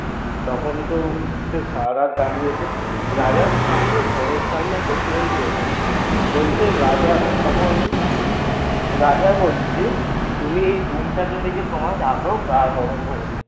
তখন তো সে সারা রাত দাড়িয়েছে রাজার সামনে ঘরের সামনে একটা ডোম জ্বলছিল বলছে রাজা তখন রাজা বলছে তুমি এই ডুমটাকে দেখে তোমার গা গরম হয়ে